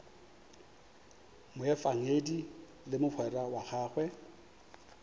moefangedi le mogwera wa gagwe